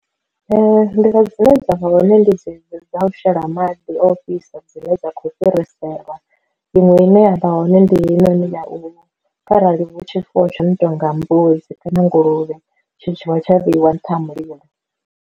Nḓila dzine dza vha hone ndi dze dzi u shela maḓi ofhisa dzine dza khou fhiriselwa, iṅwe ine ya vha hone ndi heyi noni ya u arali hu tshifuwo tsho no tonga mbudzi kana nguluvhe tshitshavha tsha vheiwa nṱha ha mulilo.